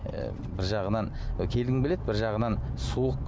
і бір жағынан і келгім келеді бір жағынан суық